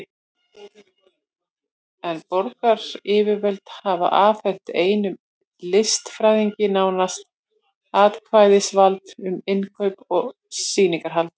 En borgaryfirvöld hafa afhent einum listfræðingi nánast alræðisvald um innkaup og sýningarhald.